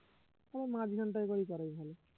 ও মাঝখানটায় করলে তো আরই ভালো